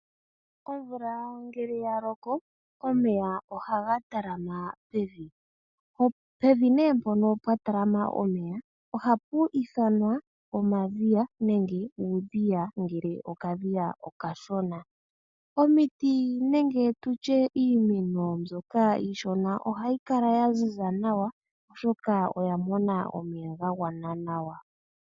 Omvula ngele yaloko omeya ohaga tala ma pevi, pevi nee mpono pwa tala ma omeya ohapu ithanwa omadhiya nenge uudhiya ngele okadhiya okashona. Omiti ngele tutye iimeno mbyoka iishona ohayi kala ya zi za nawa oshoka oya mona omeya ga gwana nawa.